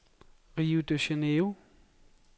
Rio de Janeiro